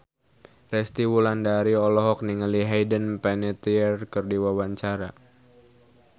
Resty Wulandari olohok ningali Hayden Panettiere keur diwawancara